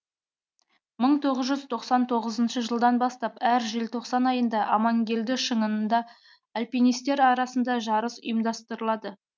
мың тоғыз жүз тоқсан тоғызынышы жылдан бастап әр желтоқсан айында амангелді шыңында альпинистер арасында жарыс ұйымдастырылады